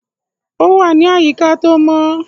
Ó wà ní àyíká tó mọ.